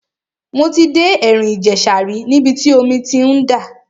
Mo ti dé ẹ̀rìn ìjẹ̀ṣà rí níbi tí omi ti ń dà.